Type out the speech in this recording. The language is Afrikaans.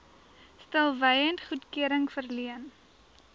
stilswyend goedkeuring verleen